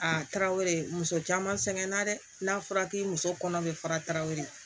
A taara o de muso caman sɛŋɛn na dɛ n'a fɔra k'i muso kɔnɔ be fara tarawele